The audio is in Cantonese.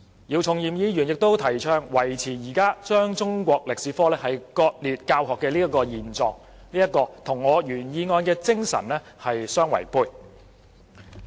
姚議員亦提倡維持現時將中史科割裂教學的現狀，這與我原議案的精神相違背。